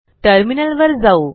टर्मिनलवर जाऊ